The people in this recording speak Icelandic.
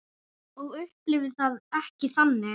Ég upplifi það ekki þannig.